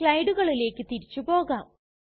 സ്ലയ്ടുകളിലേക്ക് തിരിച്ചു പോകാം